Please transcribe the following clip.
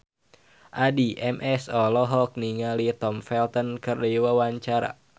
Addie MS olohok ningali Tom Felton keur diwawancara